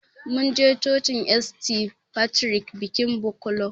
Mun je cocin St.Patrick bikin Bukola